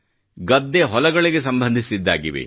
ಗದ್ದೆ ಹೊಲಗಳಿಗೆ ಸಂಬಂಧಿಸಿದ್ದಾಗಿವೆ